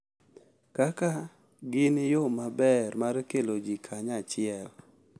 Kaka gin yo maber mar kelo ji kanyachiel.